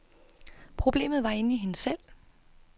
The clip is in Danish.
Problemet var inde i hende selv.